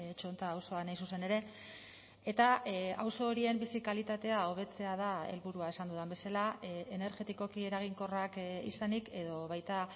txonta auzoan hain zuzen ere eta auzo horien bizi kalitatea hobetzea da helburua esan dudan bezala energetikoki eraginkorrak izanik edo baita